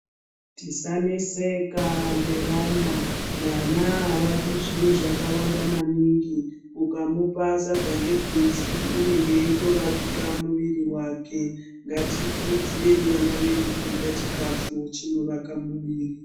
Tisaneseka ngevana. Vana avadi zviro zvakawanda maningi. Ukamupa sadza ngebhinzi, unenge eitovakika muviri wake. Ngatikurudzirei vana vedu kurya chikafu chinovaka muviri.